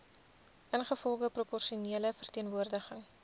ingevolge proporsionele verteenwoordiging